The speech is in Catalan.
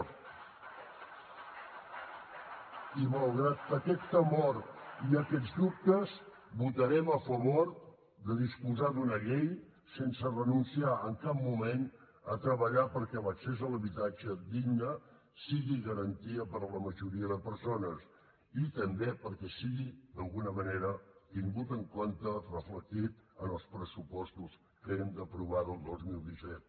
i malgrat aquest temor i aquests dubtes votarem a favor de disposar d’una llei sense renunciar en cap moment a treballar perquè l’accés a l’habitatge digne sigui garantia per a la majoria de persones i també perquè sigui d’alguna manera tingut en compte reflectit en els pressupostos que hem d’aprovar del dos mil disset